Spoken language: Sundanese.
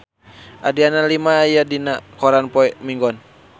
Adriana Lima aya dina koran poe Minggon